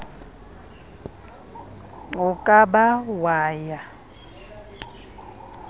o ka ba wa ya